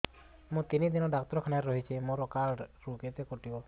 ମୁଁ ତିନି ଦିନ ଡାକ୍ତର ଖାନାରେ ରହିଛି ମୋର କାର୍ଡ ରୁ କେତେ କଟିବ